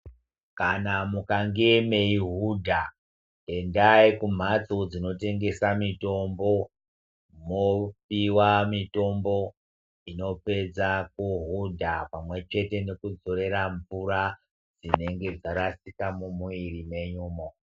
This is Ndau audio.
Kana mukange meihudha endai kumhatso dzinotengesa mitombo mwopiwa mutombo inopedza kuhudha pamwechete nekudzorera mvura dzinenge dzarasika mumwiri mwenyumwo.